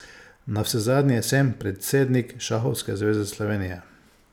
Navsezadnje sem predsednik Šahovske zveze Slovenije.